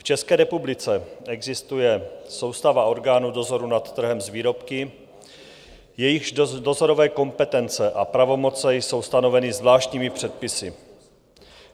V České republice existuje soustava orgánů dozoru nad trhem s výrobky, jejichž dozorové kompetence a pravomoce jsou stanoveny zvláštními předpisy.